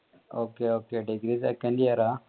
okay okaydegree second year ആ